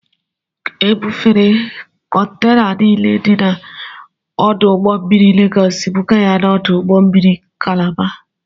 Ebufere kọntena niile dị n'ọdụ ụgbọ mmiri Legọọs bụga ya n'ọdụ ụgbọ mmiri kalaba.